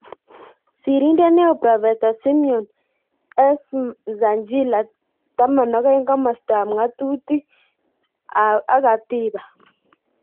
Sirindeet neoo Prof Simon S.Msanjila 12 Komostap ng'atutil ak Katibq